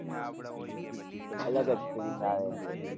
અલગ જ feeling આવે છે એક.